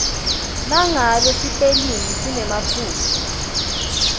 nangabe sipelingi sinemaphutsa